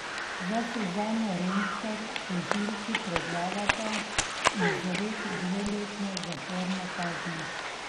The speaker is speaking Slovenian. Za Suzano Remškar tožilki predlagata izrek dveletne zaporne kazni.